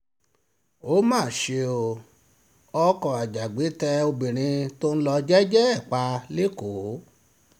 ó mà ṣe o ọkọ ajàgbẹ́ tẹ obìnrin tó ń lọ jẹ́ẹ́jẹ́ ẹ̀ pa lẹ́kọ̀ọ́